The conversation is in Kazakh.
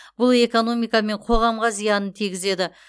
бұл экономика мен қоғамға зиянын тигізеді